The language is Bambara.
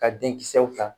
Ka den kisɛw ta